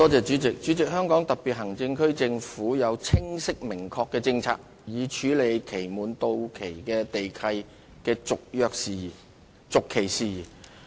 主席，香港特別行政區政府有清晰明確的政策以處理期滿地契的續期事宜。